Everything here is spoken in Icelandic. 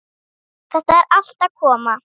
Þetta er allt að koma.